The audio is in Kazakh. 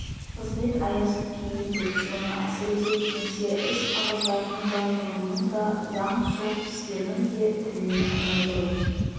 қызмет аясын кеңейту оны әсіресе кеңсе-іс қағаздарының да ғылымның да заң-сот істерінің де тіліне айналдыру